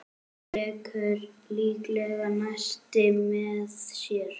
Tekur líklega nesti með sér.